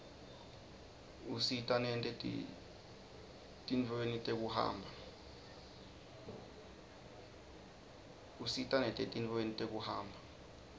usita nete tintfueni tekuhamba